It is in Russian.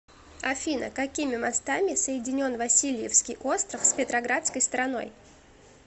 афина какими мостами соединен васильевский остров с петроградской стороной